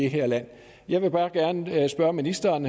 her land jeg vil bare gerne spørge ministeren